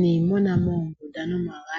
niimona moombunda nomagala.